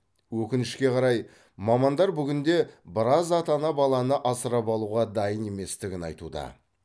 өкінішке қарай мамандар бүгінде біраз ата ана баланы асырап алуға дайын еместігін айтуда